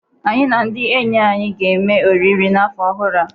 Anyị na ndị enyi anyị ga-eme oriri n'afọ ọhụrụ a.